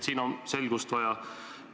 Siin on selgust vaja.